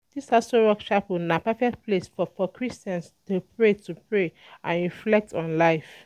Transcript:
Dis Aso Rock Chapel na perfect place for Christians to pray to pray and reflect on life.